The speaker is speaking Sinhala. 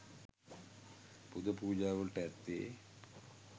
පුද පූජා වලට ඇත්තේ